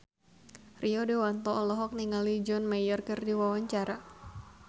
Rio Dewanto olohok ningali John Mayer keur diwawancara